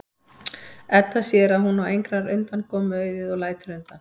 Edda sér að hún á engrar undankomu auðið og lætur undan.